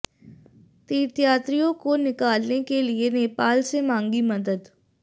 तीर्थयात्रियों को निकालने के लिये नेपाल से मांगी मदद